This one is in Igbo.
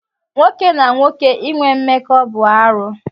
Nwoke na nwoke inwe mmekọ bụ arụ.